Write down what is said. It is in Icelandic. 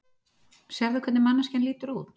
Sérðu hvernig manneskjan lítur út?